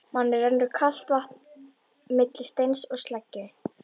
Manni rennur kalt vatn milli steins og sleggju.